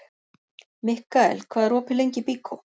Mikkael, hvað er opið lengi í Byko?